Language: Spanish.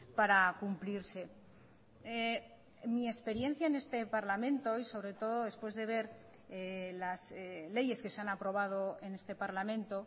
para cumplirse mi experiencia en este parlamento y sobre todo despúes de ver las leyes que se han aprobado en este parlamento